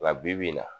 Nka bibi in na